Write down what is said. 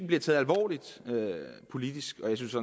bliver taget alvorligt politisk jeg synes